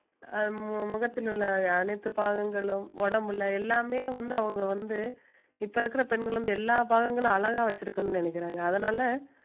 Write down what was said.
அஹ் முகத்தில் உள்ள அனைத்து பாகங்களும் உடம்புல எல்லாமே வந்து அவங்க வந்து இப்ப இருக்கிற பெண்கள் வந்து எல்லா பாகங்களும் அழகா வச்சிருக்கணும்னு நினைக்கறாங்க அதனால